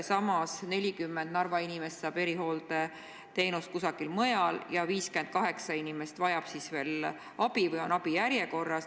Samas 40 Narva inimest saab erihooldeteenust kusagil mujal ja 58 inimest vajab veel abi ehk on abi järjekorras.